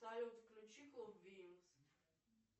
салют включи клуб винкс